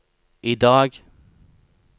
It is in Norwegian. idag